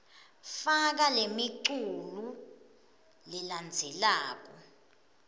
faka lemiculu lelandzelako